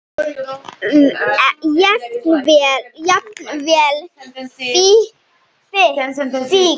Jafnvel fíkn.